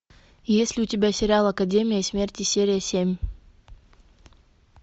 есть ли у тебя сериал академия смерти серия семь